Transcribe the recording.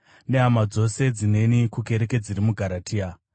nehama dzose dzineni, kukereke dziri muGaratia: